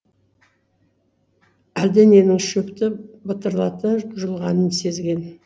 әлдененің шөпті бытырлата жұлғанын сезген